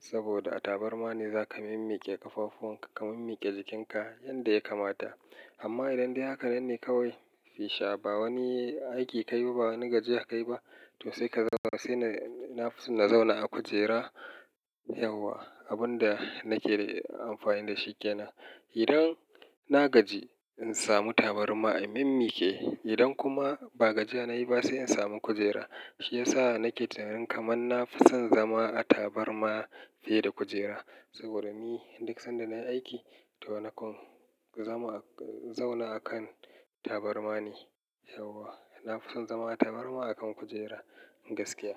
Saboda a tabarma ne za ka mimmiƙe ƙafafunka, ka mimmiƙe jikinka yanda ya kamata. Amma idan dai hakanai ne kawai, fisha ba wani aiki ka yi ba, ba na gajiya ka yi ba, to sai ka zauna. Sai na fi so na zauna a kujera, yauwa. Abin da nake amfani da shi kenan. Idan na gaji, in samu tabarma in mimmiƙe. Idan kuma ba gajiya na yi ba, sai in samu kujera. Shi ya sa nake tunanin kamar na fi son zama a tabarma fiye da kujera. Saboda ni duk sanda na yi aiki, to nakan zama, zauna a kan tabarma ne. Yauwa. Na fi son zama a tabarma akan kujera, gaskiya.